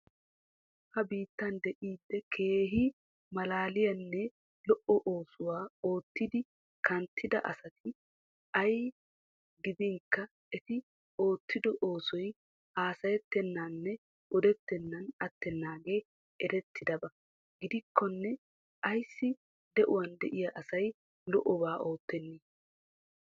Ha bittan de'iiddi keehi malaliyanne lo'o oossuwa oottidi kanttida asati ay gidinkka eti oottido oossoy haassayettenanne odetenan attenage erretidaba gidiko ayssi de'uwan de'iya assay lo'obaa oottene?